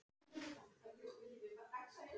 Um leið byggist upp traust.